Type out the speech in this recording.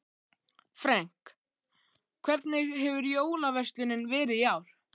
Frank, hvernig hefur jólaverslunin verið í ár?